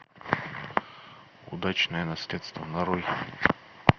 удачное наследство нарой